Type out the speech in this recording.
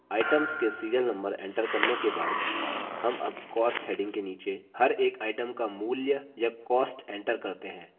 items के serial number enter करने के बाद हम अब cost heading के नीचे हर एक items का मूल्य या cost enter करते हैं